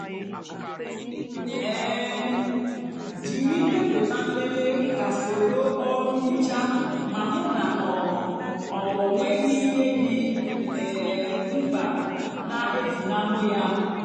um jiri ndepụta nlele ka soro ọrụ nhicha ma hụ na ọ ọ nweghị ihe dị um mkpa na-efunahụ ya.